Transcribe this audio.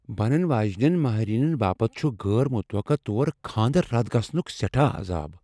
بنن واجِنین ماہرینین باپت چھٗ غٲر مٗتبقع طور خاندر رد گژھٗن سیٹھاہ عضاب ۔